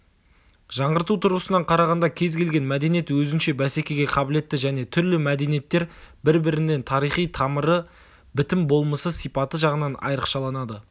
жаңғырту тұрғысынан қарағанда кез келген мәдениет өзінше бәсекеге қабілетті және түрлі мәдениеттер бір-бірінен тарихи тамыры бітім-болмысы сипаты жағынан айрықшаланады